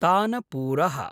तानपूरः